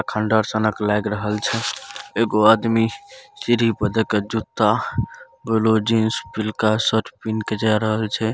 खंडर सनक लाऐग रहल छै एगो आदमी सीढ़ी पर देके जूता ब्लू जींस पिलका शर्ट पहिनके जाय रहल छै।